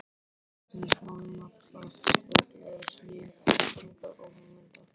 Hvorki hráefnis málma, plasts og glers né þekkingar og hugmynda.